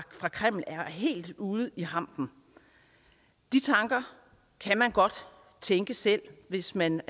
kreml er helt ude i hampen de tanker kan man godt tænke selv hvis man